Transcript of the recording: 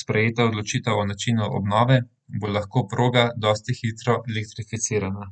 sprejeta odločitev o načinu obnove, bo lahko proga dosti hitro elektrificirana.